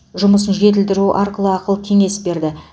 жұмысын жетілдіру арқылы ақыл кеңес берді